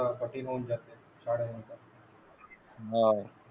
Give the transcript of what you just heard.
कठीण होऊन जाते